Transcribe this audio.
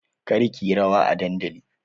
Kar ki yi rawa a dandali!